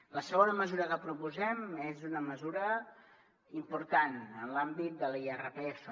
la segona mesura que proposem és una mesura important en l’àmbit de l’irpf